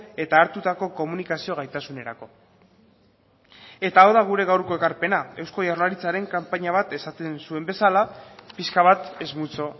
eta hartutako komunikazio gaitasunerako eta hau da gure gaurko ekarpena eusko jaurlaritzaren kanpaina bat esaten zuen bezala pixka bat es mucho